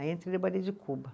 Aí entrei no balê de Cuba.